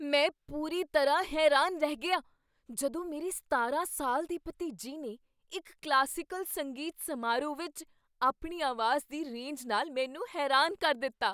ਮੈਂ ਪੂਰੀ ਤਰ੍ਹਾਂ ਹੈਰਾਨ ਰਹਿ ਗਿਆ ਜਦੋਂ ਮੇਰੀ ਸਤਾਰਾਂ ਸਾਲ ਦੀ ਭਤੀਜੀ ਨੇ ਇੱਕ ਕਲਾਸੀਕਲ ਸੰਗੀਤ ਸਮਾਰੋਹ ਵਿੱਚ ਆਪਣੀ ਆਵਾਜ਼ ਦੀ ਰੇਂਜ ਨਾਲ ਮੈਨੂੰ ਹੈਰਾਨ ਕਰ ਦਿੱਤਾ